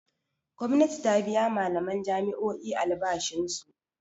Gwamnati ta biya malaman jami'o'i albashinsu.